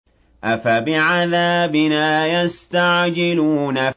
أَفَبِعَذَابِنَا يَسْتَعْجِلُونَ